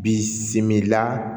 Bi simila